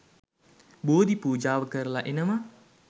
බෝධි පූජාව කරලා එනවා.